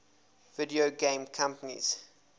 video game companies